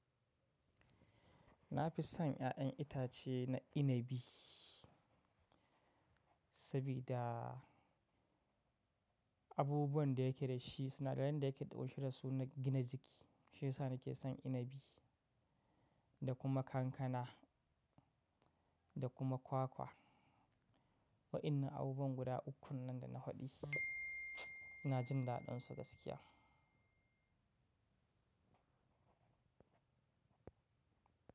Na fi son ya'yan itace na inabi sabida abubuwan da yake da shi sinadaran da yake ɗauke da su na gina jiki. Shi ya sa nake son inabi da kuma kankana da kuma kwakwa. Wa' innan abubuwan guda ukun nan da na hwaɗi, ina jin daɗinsu gaskiya.